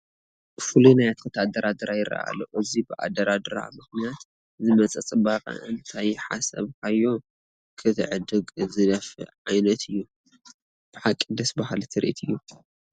ፍሉይ ናይ ኣትክልቲ ኣደራድራ ይርአ ኣሎ፡፡ እዚ ብኣደራድራ ምኽንያት ዝመፀ ፅባቕ እንተይሓሰብካዮ ክትዕድግ ዝደፍእ ዓይነት እዩ፡፡ ብሓቂ ደስ በሃሊ ትርኢት እዩ፡፡